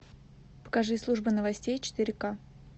покажи служба новостей четыре ка